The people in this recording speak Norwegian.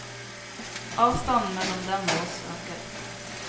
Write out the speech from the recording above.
Avstanden mellom dem og oss øker.